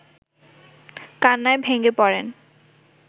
কান্নায় ভেঙে পড়েন